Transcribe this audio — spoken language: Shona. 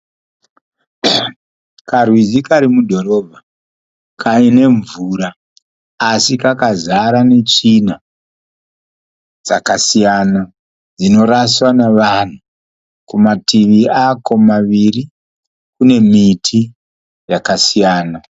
Karwizi kari mudhorobha kane mvura asi kakazara netsvina dzakasiyana dzinoraswa navanhu. Kumativi ako maviri kune miti yakasiyana.